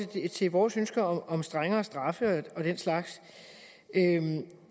til vores ønske om strengere straffe og den slags